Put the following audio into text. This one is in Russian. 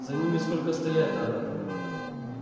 за ними сколько стоять надо